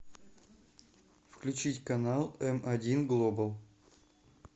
включить канал эм один глобал